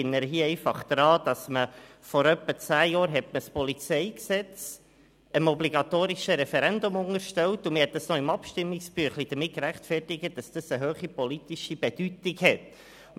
Ich erinnere daran, dass man hier vor etwa zehn Jahren das Polizeigesetz (PolG) dem obligatorischen Referendum unterstellte, was man im Abstimmungsbüchlein mit einer hohen politischen Bedeutung rechtfertigte.